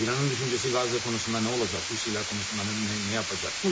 İranın düşüncəsi Qazla konusunda nə olacaq, Rusiya ilə konusunda nə nə yapacaq?